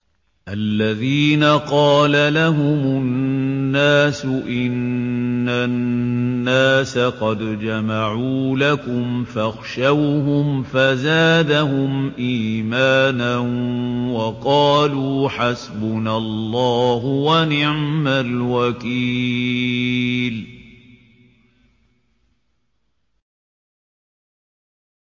الَّذِينَ قَالَ لَهُمُ النَّاسُ إِنَّ النَّاسَ قَدْ جَمَعُوا لَكُمْ فَاخْشَوْهُمْ فَزَادَهُمْ إِيمَانًا وَقَالُوا حَسْبُنَا اللَّهُ وَنِعْمَ الْوَكِيلُ